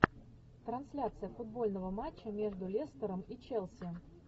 трансляция футбольного матча между лестером и челси